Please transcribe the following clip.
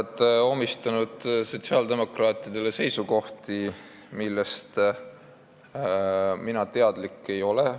Te omistate sotsiaaldemokraatidele seisukohti, millest mina teadlik ei ole.